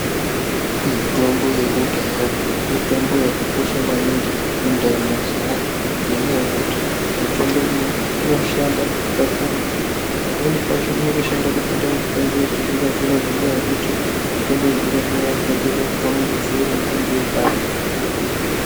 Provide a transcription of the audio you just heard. Mitombo yekudhaya mitombo yakakosha maningi muntharamo dzevanthu ngenyaya yekuti mitombo iyi inoshanda kakurutu pamweni pacho inotoshanda kupinda mitombo yechizvino zvino ngenyaya yekuti mitombo yechizvinozvino yakagadzirwe kubva muruzivo rwemutombo wekare.